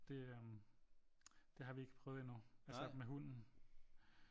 Det øh det har vi ikke prøvet endnu altså med hunden